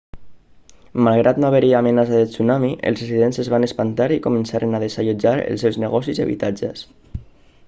malgrat no haver-hi amenaça de tsunami els residents es van espantar i començaren a desallotjar els seus negocis i habitatges